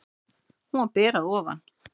Hún var ber að ofan.